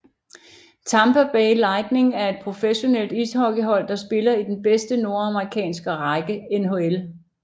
Tampa Bay Lightning er et professionelt ishockeyhold der spiller i den bedste nordamerikanske række NHL